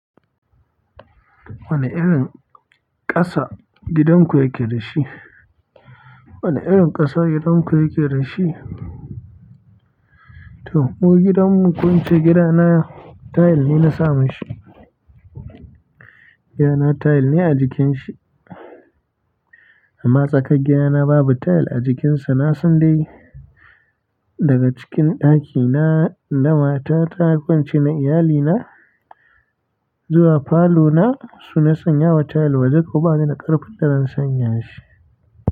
Wane irin ƙasa gidan ku yake da shi? Wane irin ƙasa gidan ku yake da shi? To, mu gidanmu ko ince gida na tile ne na sa mashi. Gida na tile ne a jikin shi. Amma tsakar gida na babu tile a jikin sa. Na san dai daga cikin ɗaki na na mata ta ko ince na iyalina zuwa falo na su na sanyawa tile, waje ko ba ni da ƙarfin da zan sanya shi.